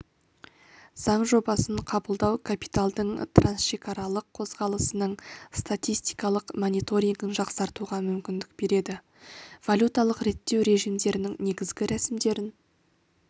заң жобасын қабылдау капиталдың трансшекаралық қозғалысының статистикалық мониторингін жақсартуға мүмкіндік береді валюталық реттеу режимдерінің негізгі рәсімдерін